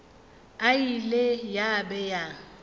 e ile ya be ya